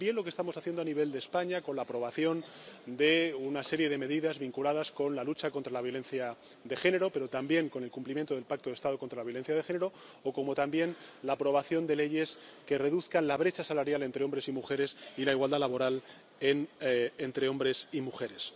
O también lo que estamos haciendo a nivel de España con la aprobación de una serie de medidas vinculadas con la lucha contra la violencia de género, pero, también, con el cumplimiento del Pacto de Estado contra la violencia de género o la aprobación de leyes que reduzcan la brecha salarial entre hombres y mujeres, y la igualdad laboral entre hombres y mujeres.